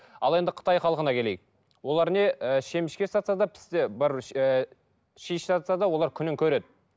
ал енді қытай халқына келейік олар не ы шемішке сатса да пісте ыыы ши сатса да олар күнін көреді